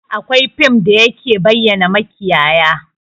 Akwai fim ɗin da ke bayyana makiyaya